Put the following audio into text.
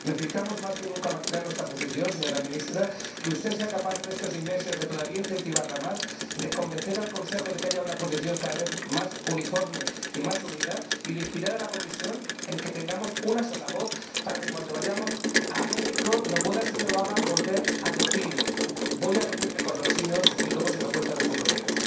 Necesitamos más que nunca mantener nuestra posición, señora Ministra, que usted sea capaz en estos seis meses de incentivarla todavía más, de convencer al Consejo de que haya una posición cada vez más uniforme y más unida y de inspirar a la Comisión para que tengamos una sola voz a fin de que, cuando vayamos a México, no pueda el señor Obama volver a decir Voy a reunirme con los chinos y luego se lo cuento a los europeos,